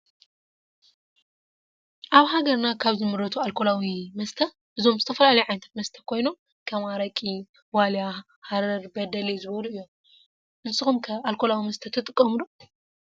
አብ ሃገርና ካብ ዝምረቱ አልኮላዊ መሰተእዞም ዝተፈላለዮ ዓይነት መሰታት ኮይናም ከም አረቂ ዋልያ ሃረር በዴሌዝበሉ እዮም ። ንሰኩም ከ አልኮላዊ መሰተ ትጥቀሙ ዶ?